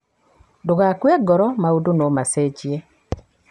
Ndũgakue Ngoro, maũndũ no macenjie.